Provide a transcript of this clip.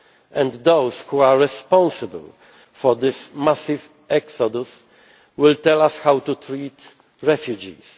and those responsible for this massive exodus will tell us how to treat refugees.